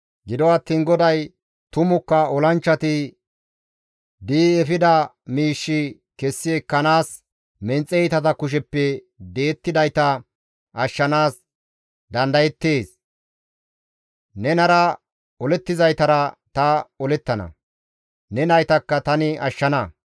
Gido attiin GODAY, «Tumukka olanchchati di7i efida miish kessi ekkanaas, menxe iitata kusheppe di7ettidayta ashshanaas dandayettees; nenara olettizaytara ta olettana; ne naytakka tani ashshana.